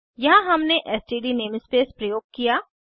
यहाँ हमने STD namespace प्रयोग किया